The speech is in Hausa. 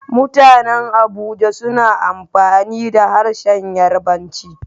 Mutanen Abuja suna amfani da harshen Yarbanci.